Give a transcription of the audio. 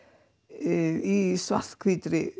í